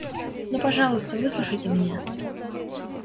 ну пожалуйста выслушайте меня